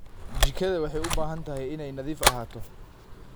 Jikada waxay u baahan tahay inay nadiif ahaato.